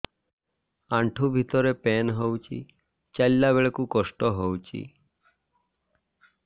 ଆଣ୍ଠୁ ଭିତରେ ପେନ୍ ହଉଚି ଚାଲିଲା ବେଳକୁ କଷ୍ଟ ହଉଚି